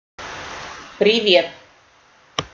привет